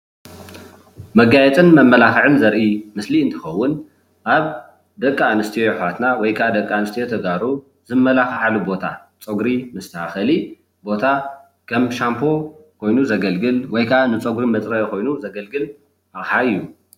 መጋየፅን መመላክዕን ዘርኢ ምስሊ እንትከውን ኣብ ደቂ ኣንስትዮ እሕዋትና ወይከዓ ደቂ ኣንስትዮ ተጋሩ ዝመላከዓሉ ቦታ ፀጉሪ መስተካከሊ ቦታ ከም ሻምፖ ኮይኑ ዘገልግል ወይከዓ ንፀጉሪ መፅረይ ኮይኑ ዘገልግል ኣቕሓ እዩ።